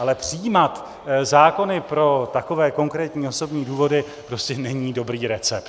Ale přijímat zákony pro takové konkrétní osobní důvody prostě není dobrý recept.